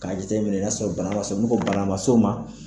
K'a jateminɛ n'a sɔrɔ bana ma s'o n'u ko bana ma s'o ma